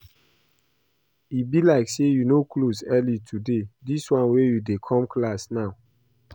E be like say you no close early today dis wan you dey come class now